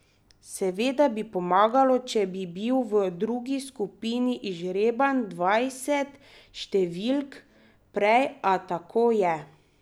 Seveda bi pomagalo, če bi bil v drugi skupini izžreban dvajset številk prej, a tako je.